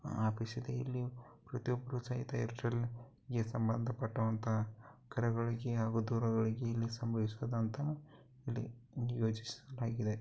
Office ಇದೆ ಇಲ್ಲಿ ಪ್ರತಿಯೊಬ್ಬರು ಸಹಿತ ಈ { ಸಂಬಂಧ ಪಟ್ಟಂತ ಕರೆಗಳಿಗೆ ಹಾಗು ದೂರುಗಳಿಗೆ ಇಲ್ಲಿ ಸಂಭವಿಸಿದಂತ ಇಲ್ಲಿ ಯೋಚಿಸಲಾಗಿದೆ. }